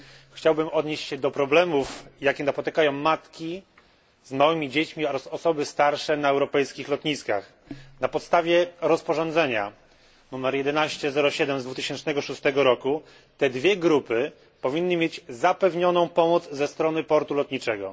Chciałbym odnieść się do problemów, jakie napotykają matki z małymi dziećmi oraz osoby starsze na europejskich lotniskach. Na podstawie rozporządzenia nr 1107 z 2006 roku te dwie grupy powinny mieć zapewnioną pomoc ze strony portu lotniczego.